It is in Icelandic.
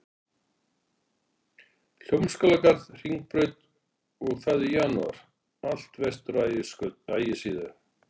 Hljómskálagarð, Hringbraut, og það í janúar, allt vestur á Ægisíðu